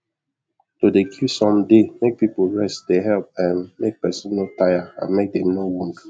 to dey give some day make people rest dey help um make person no taya and make them no wund